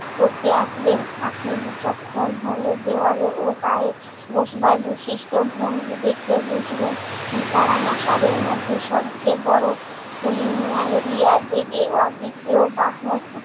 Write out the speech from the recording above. করতে আসবেন। আপনি বিচক্ষণ হলে দেয়ালে ও গায়ে বসবার বিশিষ্ট ভঙ্গি দেখে বুঝবেন উম তারা মশাদের মধ্যে সবচেয়ে বড়। কুলি ম্যালেরিয়া অদ্বিতীয় বাহন